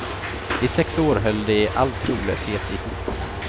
I sex år höll de i all trolöshet ihop.